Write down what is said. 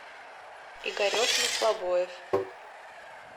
игорек маслобоев